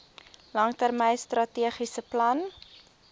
langtermyn strategiese plan